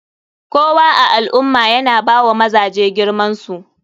Kowa a alummah yana bawa mazaje girmansu.